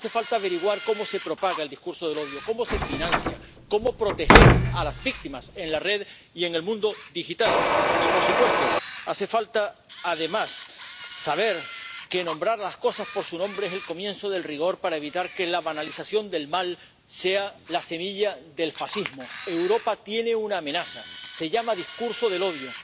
Hace falta averiguar cómo se propaga el discurso del odio, cómo se financia, cómo proteger a las víctimas en la red y en el mundo digital y, por supuesto, hace falta además saber que nombrar las cosas por su nombre es el comienzo del rigor para evitar que la banalización del mal sea la semilla del fascismo. Europa tiene una amenaza, se llama discurso del odio.